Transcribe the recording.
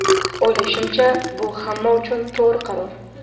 O‘ylashimcha, bu ham hamma uchun to‘g‘ri qaror.